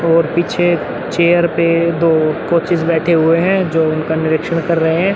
और पीछे चेयर पे दो कोचस बैठे हुए है जो उनका निरिक्षण कर रहे है।